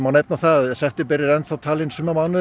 nefna það að september er enn talinn sumarmánuðum